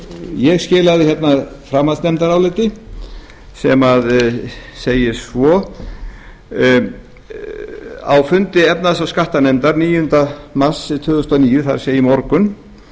ég skilaði hérna framhaldsnefndaráliti sem segir svo á fundi efnahags og skattanefndar í mars níunda mars tvö þúsund og níu það er í morgun